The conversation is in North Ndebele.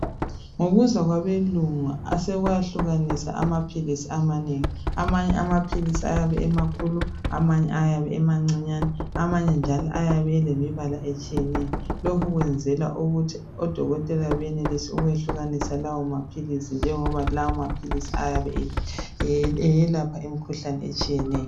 Ngokuza kwabeLungu, asekwahlukaniswa amaphilisi amanengi. Amanye amaphilisi ayabe emakhulu. Amanye ayabe emancinyane. Amanye njalo ayabe, elemibala etshiyeneyo. Lokhu sekwenzelwa ukuthi odokotela, bakwanise ukuwehlukanisa ngoba kawomaphilisi, ayabe eselapha imikhuhlane etshiyeneyo.